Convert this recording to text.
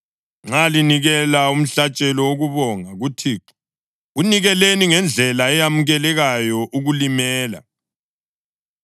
Nxa linikela umhlatshelo wokubonga kuThixo, wunikeleni ngendlela eyamukelekayo ukulimela.